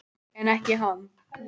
En ekki hann.